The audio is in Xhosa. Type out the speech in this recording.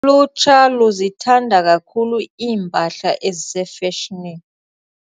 Ulutsha luzithanda kakhulu iimpahla ezisefeshonini.